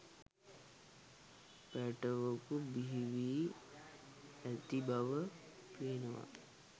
පැටවකු බිහිවී ඇති බව පේනවා